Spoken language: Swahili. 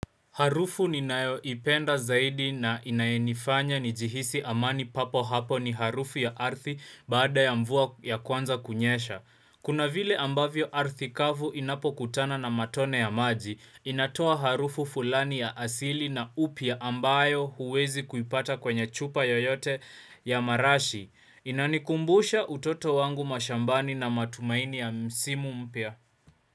Harufu ni nayo ipenda zaidi na inaenifanya ni jihisi amani papo hapo ni harufu ya ardhi baada ya mvua ya kwanza kunyesha. Kuna vile ambavyo ardhi kavu inapo kutana na matone ya maji, inatoa harufu fulani ya asili na upya ambayo huwezi kuipata kwenye chupa yoyote ya marashi. Inanikumbusha utoto wangu mashambani na matumaini ya msimu mpya.